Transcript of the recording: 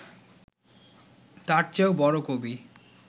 তার চেয়েও বড় কবি